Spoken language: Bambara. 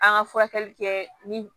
An ka furakɛli kɛ ni